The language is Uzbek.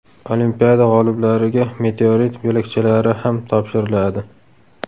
Olimpiada g‘oliblariga meteorit bo‘lakchalari ham topshiriladi.